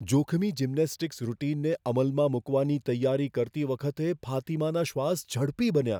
જોખમી જિમ્નેસ્ટિક્સ રૂટિનને અમલમાં મૂકવાની તૈયારી કરતી વખતે ફાતિમાના શ્વાસ ઝડપી બન્યા.